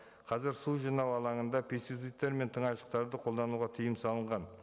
қазір су жинау алаңында пестицидтар мен қолдануға тыйым салынған